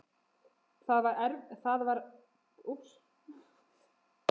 Þetta var erfiðara en við bjuggumst við.